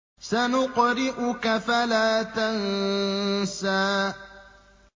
سَنُقْرِئُكَ فَلَا تَنسَىٰ